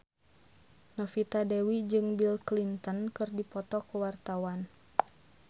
Novita Dewi jeung Bill Clinton keur dipoto ku wartawan